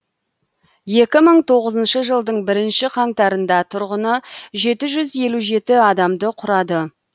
екі мың тоғызыншы жылдың бірінші қаңтарында тұрғыны жеті жүз елу жеті адамды құрады